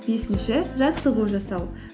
бесінші жаттығу жасау